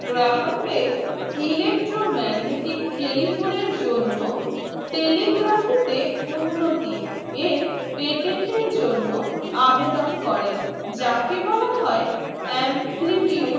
Graham Bell electro magnetic telephone জন্য telegraph তে উন্নতির patent জন্য আবেদন করেন যাকে বলা হয় amplitude